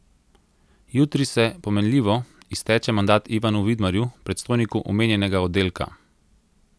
Jutri se, pomenljivo, izteče mandat Ivanu Vidmarju, predstojniku omenjenega oddelka.